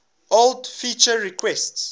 old feature requests